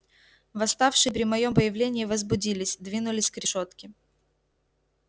восставшие при моём появлении возбудились двинулись к решётке